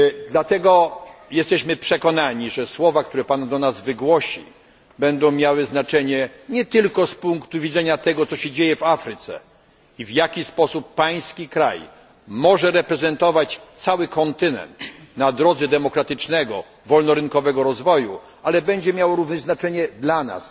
Dlatego jesteśmy przekonani, że słowa, które pan do nas wygłosi, będą miały znaczenie nie tylko z punktu widzenia tego, co się dzieje w Afryce, i tego w jaki sposób pański kraj może reprezentować cały kontynent na drodze demokratycznego wolnorynkowego rozwoju, ale będzie miało również znaczenie dla nas